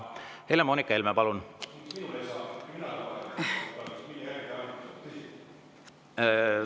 Helle‑Moonika Helme, palun!